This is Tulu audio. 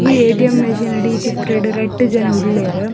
ಈ ಏ.ಟಿ.ಎಮ್ ಮೆಶಿನ್ ಡ್ ಈ ಚಿತ್ರಡ್ ರಡ್ಡ್ ಜನ ಉಲ್ಲೆರ್.